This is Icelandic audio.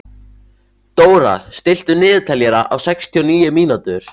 Dóra, stilltu niðurteljara á sextíu og níu mínútur.